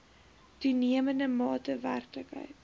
toenemende mate werklikheid